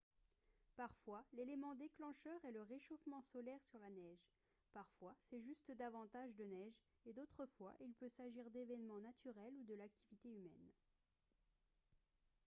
parfois l'élément déclencheur est le réchauffement solaire sur la neige parfois c'est juste davantage de neige et d'autres fois il peut s'agir d'événements naturels ou de l'activité humaine